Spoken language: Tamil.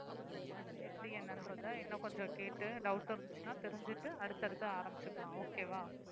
எப்படி என்னன்றதை இன்னும் கொஞ்சம் கேட்டு doubt இருந்துச்சுன்னா தெரிஞ்சுட்டு அடுத்தடுத்து ஆரம்பிச்சுக்கலாம் okay வா